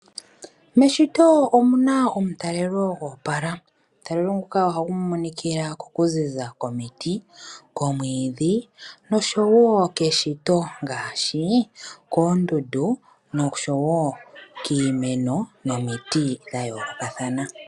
Meshito omu na omutalelo goopala. Omutalelelo nguka ohagu monikila mokuziza komiti, komwiidhi nosho wo keshito ngaashi koondundu nosho wo kiimeno nomiti dha yoolokathana.